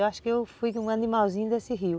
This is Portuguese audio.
Eu acho que eu fui um animalzinho desse rio.